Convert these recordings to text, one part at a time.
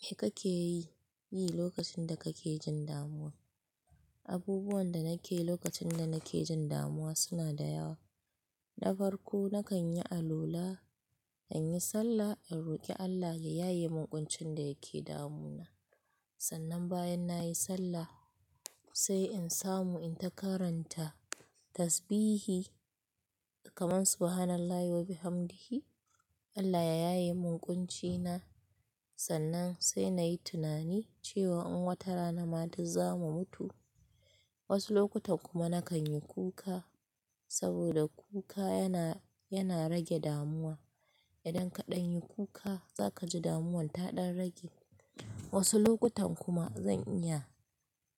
Me kake yi lokacin da kake jin damuwa? Abubuwan da nake yi lokacin da nake jin damuwa suna da yawa. Na farko, na kan yi alwala, in yi sallah in roƙe Allah ya yaye min ƙuncin da yake damuna. Sannan bayan nayi sallah sai in samu in ta karanta tasbihi kamar Subhanallahi wa bihamdihi, Allah ya yaye min ƙuncina. Sannan sai nayi tunani cewa in wata rana ma duk za mu mutu. Wasu lokutan kuma na kan yi kuka saboda kuka yana, yana rage damuwa. Idan ka ɗan yi kuka za ka ji damuwar ta ɗan rage. Wasu lokutan kuma zan iya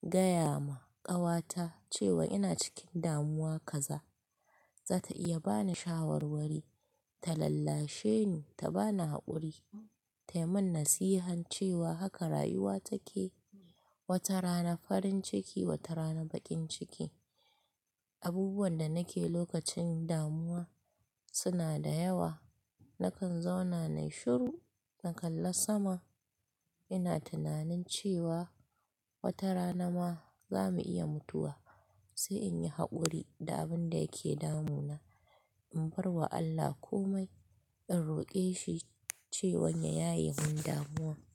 gaya ma ƙawata cewa ina cikin damuwa kaza, za ta iya ba ni shawarwari, ta lallashe ni, ta ba ni haƙuri, ta yi min nasihan cewa haka rayuwa take, wata rana farin ciki wata rana baƙin ciki. Abubuwan da nake lokacin damuwa suna da yawa na kan zauna na yi shiru, na kalla sama, ina tunanin cewa wata rana ma za mu iya mutuwa sai in yi haƙuri da abin da yake damuna. In bar wa Allah kome, in roƙe shi cewan ya yaye min damuwa.